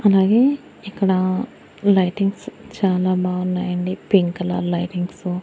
అలాగే ఇక్కడ లైటింగ్స్ చాలా బాగున్నాయండి పింక్ కలర్ లైటింగ్సు .